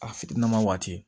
A fitinima waati